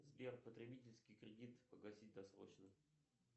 сбер потребительский кредит погасить досрочно